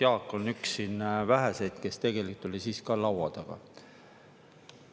Jaak on üks väheseid, kes tegelikult oli siis ka laua taga.